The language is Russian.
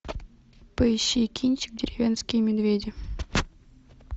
поищи кинчик деревенские медведи